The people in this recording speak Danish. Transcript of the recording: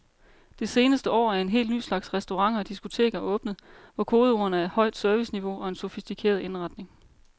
Det seneste år er en helt ny slags restauranter og diskoteker åbnet, hvor kodeordene er højt serviceniveau og en sofistikeret indretning.